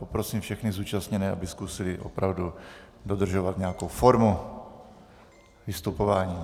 Poprosím všechny zúčastněné, aby zkusili opravdu dodržovat nějakou formu vystupování.